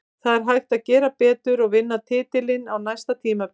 Það er hægt að gera betur og vinna titilinn á næsta tímabili.